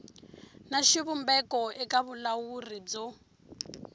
na xivumbeko eka vulawuri byo